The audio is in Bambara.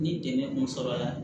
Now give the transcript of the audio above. Ni dɛmɛ kun sɔrɔ la